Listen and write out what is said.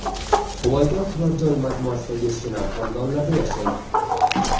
Huvaydo turar joy majmuasidagi shinam xonadonlarda yashang!.